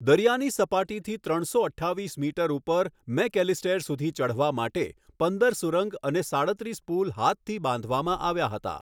દરિયાની સપાટીથી ત્રણસો અઠ્ઠાવીસ મીટર ઉપર મૅકઍલિસ્ટેર સુધી ચઢવા માટે પંદર સુરંગ અને સાડત્રીસ પુલ હાથથી બાંધવામાં આવ્યા હતા.